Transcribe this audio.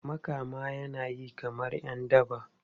Makama yana yi kamar ’yan daba.